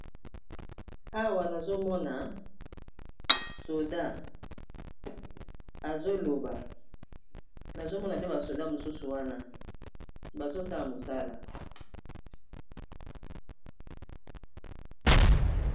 Awa nazomona soda azoloba nazomona pe ba soda mosusu wana bazosala mosala.